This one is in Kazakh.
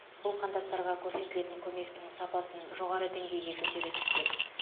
бұл қандастарға көрсетілетін көмектің сапасын жоғары деңгейге көтере түспек